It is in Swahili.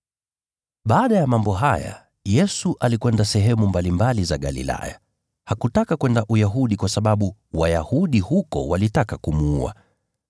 Baada ya mambo haya, Yesu alikwenda sehemu mbalimbali za Galilaya. Hakutaka kwenda Uyahudi kwa sababu Wayahudi huko walitaka kumuua.